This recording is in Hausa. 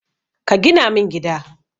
Ka gina min gida.